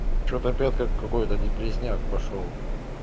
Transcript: что-то опять как какой-то депресняк пошёл